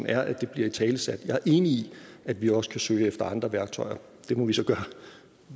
er at det bliver italesat jeg er enig i at vi også kan søge efter andre værktøjer det må vi så gøre